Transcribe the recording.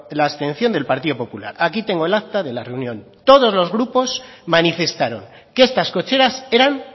la abstención del partido popular aquí tengo el acta de la reunión todos los grupos manifestaron que estas cocheras eran